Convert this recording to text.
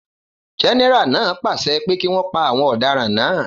Gẹ́nẹ́rà náà pàṣẹ pé kí wọn pa àwọn ọ̀daràn náà